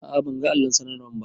A a ban ga allon sanarwan ba.